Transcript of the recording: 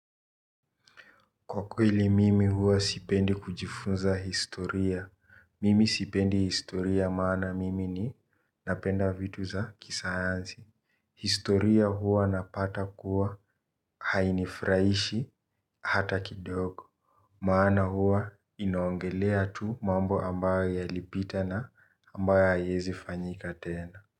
Kwa kweli mimi huwa sipendi kujifunza historia. Sipendi historia kwa maana mimi ninapenda vitu vya kisayansi. Historia hua napata kuwa hainifurahishi hata kidogo. Maana hua inaongelea tu mambo ambayo yalipita na ambayo hayawezi fanyika tena.